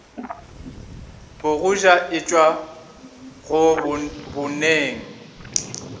bogoja e tšwa go boneng